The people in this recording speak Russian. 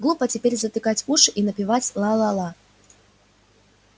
глупо теперь затыкать уши и напевать ла-ла-ла